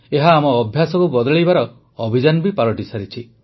ଏହା ଆମ ଅଭ୍ୟାସକୁ ବଦଳାଇବାର ଅଭିଯାନ ବି ପାଲଟିସାରିଛି